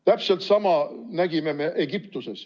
Täpselt sama nägime me Egiptuses.